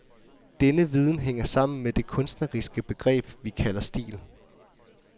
Denne viden hænger sammen med det kunstneriske begreb, vi kalder stil.